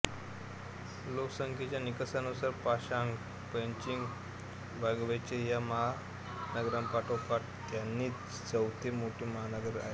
लोकसंख्येच्या निकषानुसार Shanghai Beijing Guangzhou या महानगरांपाठोपाठ त्यांजिन चौथे मोठे महानगर आहे